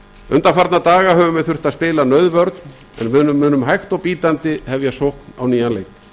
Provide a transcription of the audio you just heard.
undanfarna daga höfum við þurft að spila nauðvörn en við munum hægt og bítandi hefja sókn á ný við